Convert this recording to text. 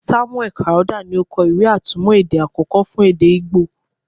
Samuel Crowther ni o kọ ìwé-atúmọ̀ èdè àkọ́kọ́ fún èdè Igbo.